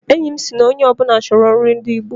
Enyi m sịrị na onye ọ bụla chọrọ nri ndị Igbo